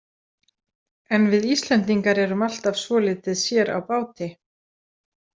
En við Íslendingar erum alltaf svolítið sér á báti.